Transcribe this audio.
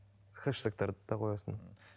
хештегтерді де қоясың